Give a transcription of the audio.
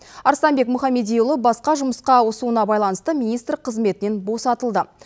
арыстанбек мұхамедиұлы басқа жұмысқа ауысуына байланысты министр қызметінен босатылды